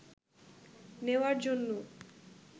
নেওয়ার জন্য